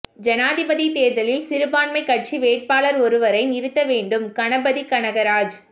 ஜனாதிபதித் தேர்தலில் சிறுபான்மைக் கட்சி வேட்பாளர் ஒருவரை நிறுத்த வேண்டும் கணபதி கனகராஜ்